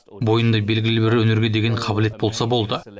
бойында белгілі бір өнерге деген қабілет болса болды